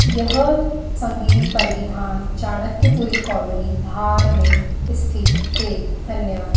यह संगिनी परिधान चाणक्यपुरी कॉलोनी धार में स्थित है धन्यवाद।